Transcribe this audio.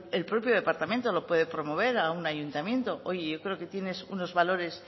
el propio departamento lo puede promover a un ayuntamiento oye yo creo que tienes unos valores